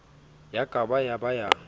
ya ka ya ba ya